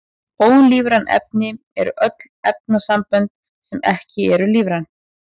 Ólífræn efni eru öll efnasambönd sem eru ekki lífræn.